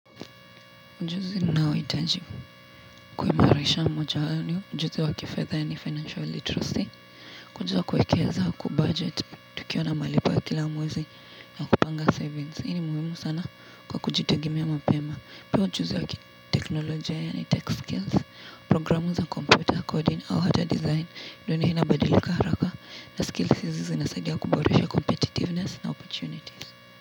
Ujuzi ninaohitaji kuimarisha moja wao ni, ujuzi wa kifedha yani financial literacy. Ujuzi wa kuwekeza wa kubudget, tukiwa na malipo ya kila mwezi na kupanga savings. Hii ni muhimu sana kwa kujitegemea mapema. Pia ujuzi wa kiteknolojia yani tech skills, programu za computer coding au hata design. Dunia inabadilika haraka na skills hizi zinasaidia kuboresha competitiveness na opportunities.